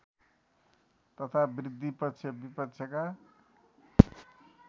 तथा वृद्धि पक्षविपक्षका